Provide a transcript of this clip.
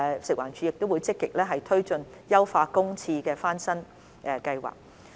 食環署亦會積極推進優化公廁翻新計劃。